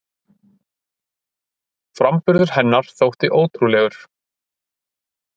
Framburður hennar þótti ótrúlegur